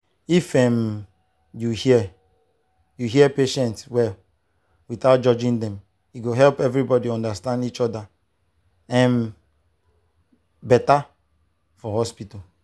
if um you hear you hear patient well without judging dem e go help everybody understand each other um better for hospital.